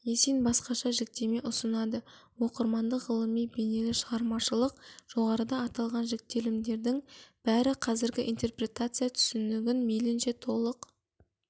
есин басқаша жіктеме ұсынады оқырмандық ғылыми бейнелі-шығармашылық жоғарыда аталған жіктелімдердің бәрі қазіргі интерпретация түсінігін мейлінше толық